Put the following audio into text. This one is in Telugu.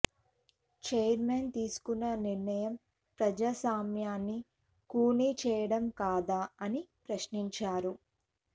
చైర్మన్ తీసుకున్న నిర్ణయం ప్రజాస్వామ్యాన్ని ఖూనీ చేయడం కాదా అని ప్రశ్నించారు